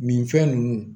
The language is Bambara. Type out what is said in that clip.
Nin fɛn ninnu